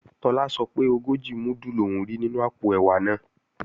Tọ́lá sọ pé ogójì múdù lòún rí nínú àpò ẹ̀wà náà